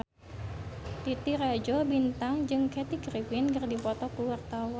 Titi Rajo Bintang jeung Kathy Griffin keur dipoto ku wartawan